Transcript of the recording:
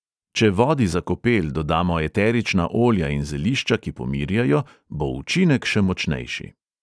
Če vodi za kopel dodamo eterična olja in zelišča, ki pomirjajo, bo učinek še močnejši.